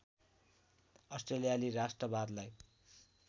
अस्ट्रेलियाली राष्ट्रवादलाई